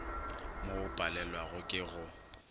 mo o palewago ke go